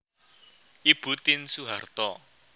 Ibu Tien Soeharto